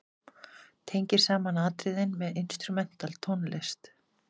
Tengir saman atriðin með instrumental tónlist.